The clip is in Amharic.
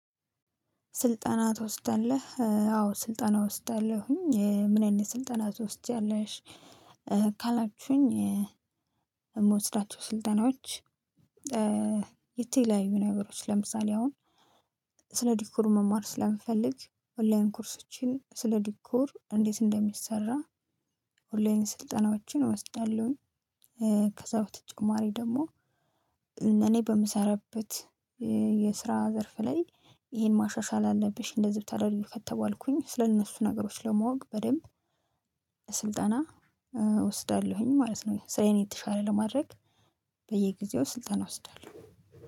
ስልጠና ትወስዳለህ? አዎ ስልጠና እወስዳለሁኝ። ምን አይነት ስልጠና ትወስጃለሽ? ካላችሁኝ፤ የምወስዳቸው ስልጠናዎች የተለያዩ ነገሮች። ለምሳሌ አሁን ስለ ዲኮር መማር ስለምፈልግ ኦንላይን ኮርሶችን ስለ ዲኮር እንዴት እንደሚሰራ ኦንላይን ስልጠናዎችን እወስዳለሁኝ። ከሰው ተጨማሪ ደግሞ እኔ በምሰራበት የስራ ዘርፍ ላይ ይሄን ማሻሻል አለብሽ እንደዚህ ብታደርጊው ከተባልኩኝ ስለእነሱ ነገሮች ለማወቅ በደንብ ስልጠና እወስዳለሁኝ ማለት ነው። ስራዬን የተሻለ ለማድረግ በየጊዜው ስልጠና እወስዳለሁ።